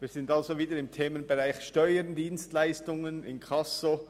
Wir sind also wieder beim Themenbereich Steuern, Dienstleistungen und Inkasso.